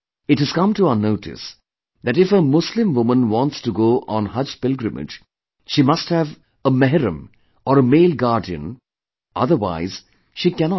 It has come to our notice that if a Muslim woman wants to go on Haj Pilgrimage, she must have a 'Mehram' or a male guardian, otherwise she cannot travel